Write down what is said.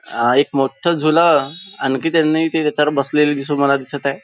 हा एक मोठा झुल आणखी त्यांनी ते त्याच्यावर बसलेली दिसून मला दिसत आहे.